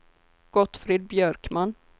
Gottfrid Björkman